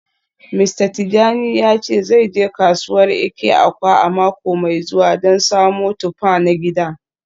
Mista Tijani ya ce zai je kasuwar Eke-Awka a mako mai zuwa don samo tuffa na gida.